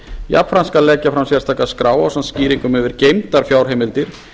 jafnframt skal leggja fram sérstaka skrá ásamt skýringum yfir geymdar fjárheimildir